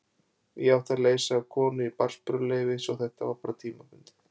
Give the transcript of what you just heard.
Ég átti að leysa af konu í barnsburðarleyfi svo þetta var bara tímabundið.